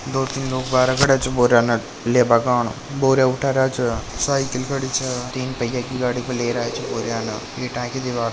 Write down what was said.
दो तीन लोग बाहर खड़े छे बोरिया न लेबा कन बोरिया उठा रहा च साइकिल खड़े च तीन पहिया की गाडी पर लेर आया च बोरिया ईटा की दीवार --